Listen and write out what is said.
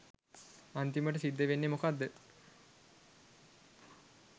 අන්තිමට සිද්ධ වෙන්නේ මොකද්ද